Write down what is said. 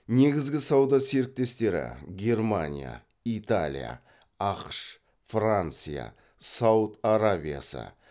негізгі сауда серіктестері германия италия ақш франция сауд арабиясы